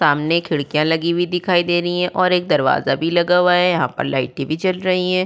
सामने खिड़कियां लगी हुई दिखाई दे रही हैं और एक दरवाजा भी लगा हुआ है। यहाँ पर लाइटें भी जल रही हैं।